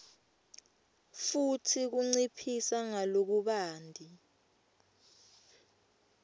futsi kunciphisa ngalokubanti